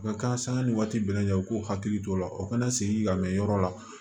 U ka kan sanga ni waati bɛɛ lajɛ u k'u hakili to o la u kana segin ka mɛn yɔrɔ la